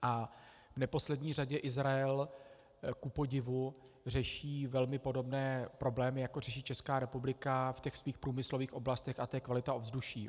A v neposlední řadě Izrael kupodivu řeší velmi podobné problémy, jako řeší Česká republika v těch svých průmyslových oblastech, a to je kvalita ovzduší.